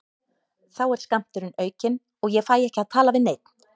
Þá er skammturinn aukinn og ég fæ ekki að tala við neinn.